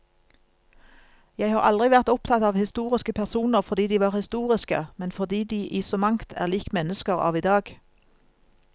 Jeg har aldri vært opptatt av historiske personer fordi de var historiske, men fordi de i så mangt er lik mennesker av i dag.